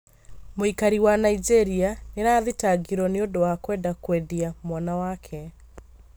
mũikari wa Nigeria nĩ arathitangirwo nĩũndũ wa kwenda kũendia mwana wake